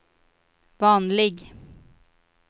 vanlig